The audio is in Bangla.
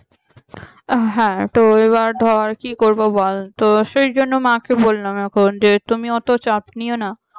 হ্যাঁ তো এবার ধর কি করব বল তো সেজন্যই মাকে বললাম এখন তুমি অত চাপ নিও না